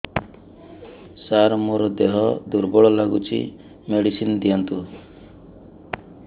ସାର ମୋର ଦେହ ଦୁର୍ବଳ ଲାଗୁଚି ମେଡିସିନ ଦିଅନ୍ତୁ